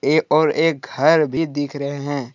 ए और एक घर भी दिख रहे हैं।